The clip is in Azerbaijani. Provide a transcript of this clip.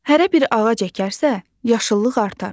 Hərə bir ağac əkərsə, yaşıllıq artar.